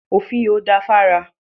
Òfiò dáa fún ara.